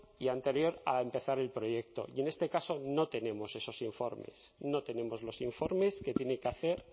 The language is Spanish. y anterior a empezar el proyecto y en este caso no tenemos esos informes no tenemos los informes que tiene que hacer